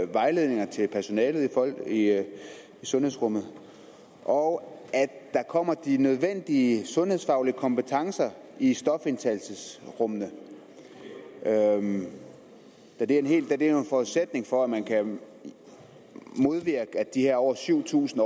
vejledninger til personalet i sundhedsrummet og at der kommer de nødvendige sundhedsfaglige kompetencer i stofindtagelsesrummene da det er en forudsætning for at man kan modvirke de her over syv tusind